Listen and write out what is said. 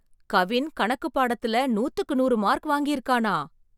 கவின் கணக்கு பாடத்துல நூத்துக்கு நூறு மார்க் வாங்கி இருக்கானா!